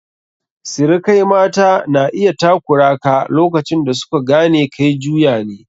Sirikai mata na iya takura ka lokacin da su ka gane kai juya ne.